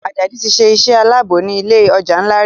Ajadi tí ṣe iṣé Àlàbò ní ilé ọjà nla rí.